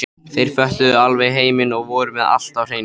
Þeir föttuðu alveg heiminn og voru með allt á hreinu.